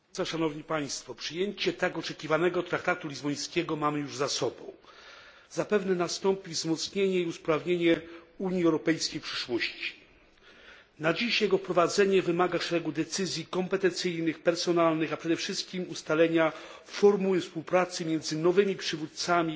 Pani przewodnicząca! Przyjęcie tak oczekiwanego traktatu lizbońskiego mamy już za sobą. Zapewne nastąpi wzmocnienie i usprawnienie Unii Europejskiej w przyszłości. Na dziś jego wprowadzenie wymaga szeregu decyzji kompetencyjnych, personalnych, a przede wszystkim ustalenia formuły współpracy między nowymi przywódcami